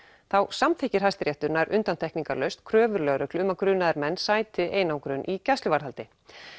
samþykkir Hæstiréttur nær undantekningalaust kröfur lögreglu um að grunaðir menn sæti einangrun í gæsluvarðhaldi